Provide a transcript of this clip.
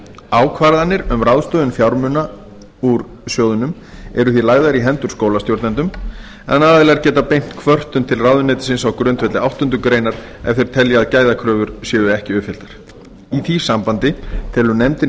ákvarðanir um ráðstöfun fjármuna úr sjóðnum eru því lagðar í hendur skólastjórnendum en aðilar geta beint kvörtun til ráðuneytisins á grundvelli áttundu grein ef þeir telja að gæðakröfur séu ekki uppfylltar í því sambandi telur nefndin